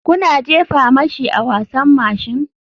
Kuna jefa mashi a wasan mashin?